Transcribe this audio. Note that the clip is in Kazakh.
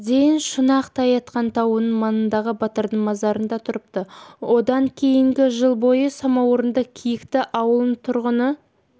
дейін шұнақ-тайатқан тауының маңындағы батырдың мазарында тұрыпты одан кейінгі жыл бойы самаурынды киікті ауылының тұрғыны